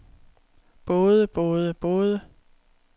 både både både